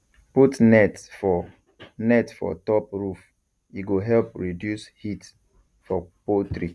put net for net for top roof e go help reduce heat for poultry